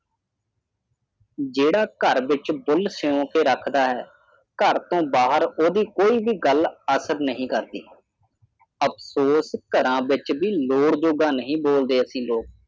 ਜਿਹੜਾ ਘਰ ਦੇ ਵਿੱਚ ਬੁੱਲ੍ਹ ਸਿਉਂ ਕੇ ਰੱਖਦਾ ਹੈ ਘਰ ਤੋਂ ਬਾਹਰ ਉਹਦੀ ਕੋਈ ਵੀ ਗੱਲ ਅਸਰ ਨਹੀਂ ਕਰਦੀ। ਅਫਸੋਸ ਘਰਾਂ ਵਿਚ ਵੀ ਲੋੜ ਜੋਗਾ ਨਹੀਂ ਬੋਲਦੇ ਅਸੀਂ ਲੋਕ।